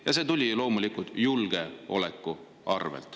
Ja see tuli loomulikult julgeoleku arvel.